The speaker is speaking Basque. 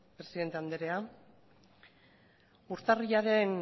presidente anderea urtarrilaren